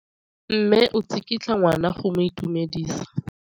Mme o tsikitla ngwana go mo itumedisa.